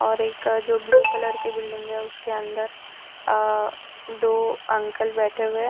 और एक जो ब्लू कलर के बिल्डिंग है उसके अंदर अ दो अंकल बैठे हुए है।